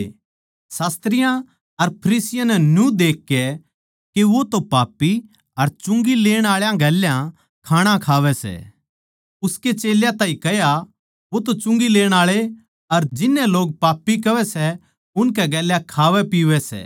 शास्त्रियाँ अर फरिसियाँ नै न्यू देखकै के वो तो पापी अर चुंगी लेण आळा गेल्या खाणा खावै सै उसके चेल्यां ताहीं कह्या वो तो चुंगी लेण आळे अर जिननै लोग पापी कहवै सै उनकै गेल्या खावैपीवै सै